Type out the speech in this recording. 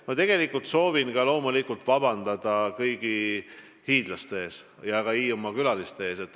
Ma soovin loomulikult vabandust paluda kõigi hiidlaste ja ka Hiiumaa külaliste käest.